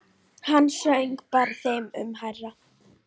Hann söng bara þeim mun hærra.